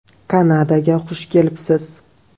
Kanadaga xush kelibsiz!